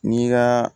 N'i ka